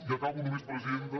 i acabo només presiden·ta